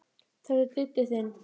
Þetta er Diddi þinn.